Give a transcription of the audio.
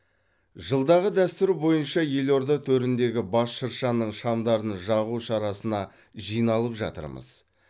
жылдағы дәстүр бойынша елорда төріндегі бас шыршаның шамдарын жағу шарасына жиналып жатырмыз